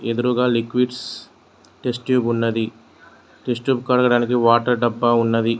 ఎదురుగ liquids test tube ఉన్నది test tube కడగడానికి వాటర్ డబ్బా ఉన్నది.